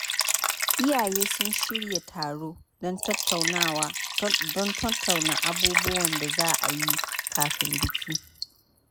Iyaye sun shirya taro don tattauna abubuwan da za a yi kafin biki.